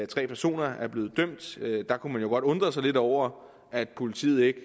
tre personer er blevet dømt da kunne man jo godt undre sig lidt over at politiet ikke